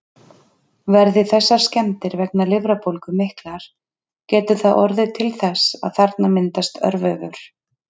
Verði þessar skemmdir vegna lifrarbólgu miklar, getur það orðið til þess að þarna myndast örvefur.